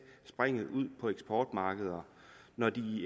springet ud på eksportmarkedet når de